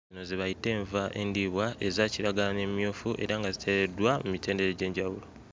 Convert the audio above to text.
Zino ze bayita enva endiibwa eza kiragala n'emmyufu era nga ziteereddwa mmitendera egy'enjawulo.